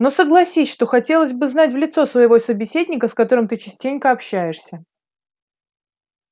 но согласись что хотелось бы знать в лицо своего собеседника с которым ты частенько общаешься